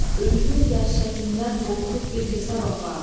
Ölümün dəhşətindən qorxub bir hesab apar.